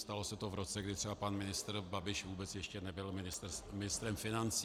Stalo se to v roce, kdy třeba pan ministr Babiš vůbec ještě nebyl ministrem financí.